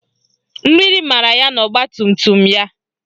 Mmiri mara ya n'ogbatumtum ya